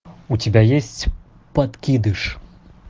у тебя есть подкидыш